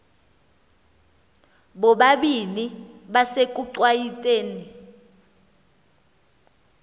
bobabini besekuchwayite ni